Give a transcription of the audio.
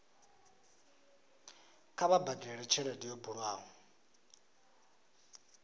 kha vha badele tshelede yo bulwaho